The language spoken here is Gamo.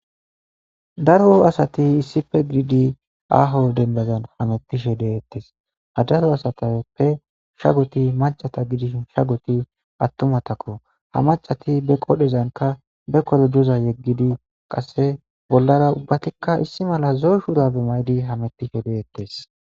Daro asati issife giidi aaho denbazan hamettishe deettes ha daro asatappe shagoti macata gidish sha goti attumatakko ha macati be qodhezanka be kolojoza yeggidi qasse bollara ubbatikka issi mala zoyshurabe maydi hamettishe deettes.